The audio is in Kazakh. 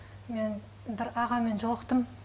мен бір ағамен жолықтым